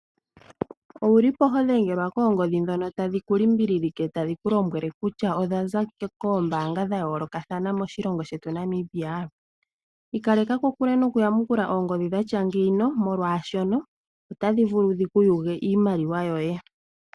Owuli po hodhengelwa koongodhi ndhono tadhi ku limbililike, tadhiku lombwele kutya odhaza koombaanga dha yoolokathana moshilongo shetu shaNamibia? Ikaleka kokule nokuyamukula oongodhi dhatya ngeyi, molwaashono otadhi vulu dhiku yuge iimaliwa yoye.